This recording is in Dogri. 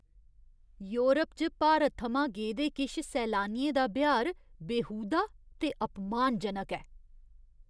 योरप च भारत थमां गेदे किश सैलानियें दा ब्यहार बेहूदा ते अपमानजनक ऐ।